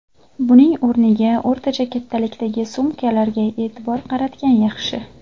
Buning o‘rniga o‘rtacha kattalikdagi sumkalarga e’tibor qaratgan yaxshi.